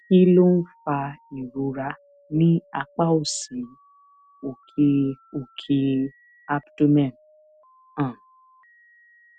kí ló ń fa ìrora ní apá òsì òkè òkè abdomen um